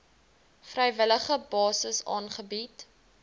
vrywillige basis aangebied